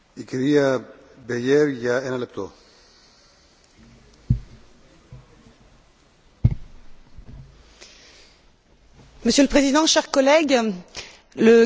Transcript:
Monsieur le Président, chers collègues, le 4 novembre, le Parlement a arraché, face au Conseil, la garantie que toute restriction d'accès à l'internet ne pourra se faire sans respecter certaines conditions